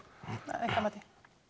að ykkar mati